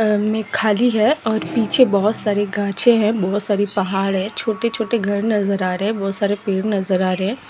में खाली है और पीछे बहोत सारी गाछें हैं बहोत सारे पहाड़ हैं और छोटे-छोटे घर नजर आ रहे हैं बहोत सारे पेड़ नजर आ रहे हैं।